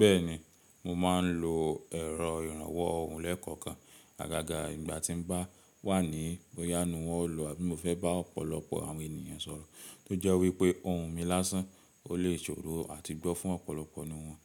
Bẹ́ẹ̀ni, mo máa ń lo ẹ̀rọ ìrànwọ́ ohun lẹ́kọ̀ọ̀kan agaga ìgbà tí mo bá wà ní bóyánú hall, àbí mo fẹ́ bá ọ̀pọ̀lọpọ̀ àwọn ènìyàn sọ̀rọ̀, tó jẹ́ wí pé ohun mi lásán, o lè ṣòro àti gbọ́ fún ọ̀pọ̀lọpọ̀ nìyẹn.